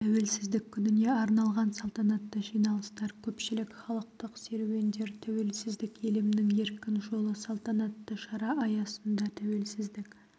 тәуелсіздік күніне арналған салтанатты жиналыстар көпшілік халықтық серуендер тәуелсіздік елімнің еркін жолы салтанатты шара аясында тәуелсіздік